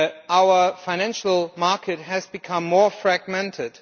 Our financial market has become more fragmented.